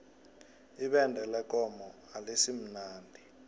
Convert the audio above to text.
ibende lekomo alisimnandi